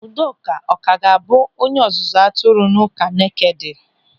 Udoka ọ ka ga-abụ onye ọzụzụ atụrụ n'ụka Nekede?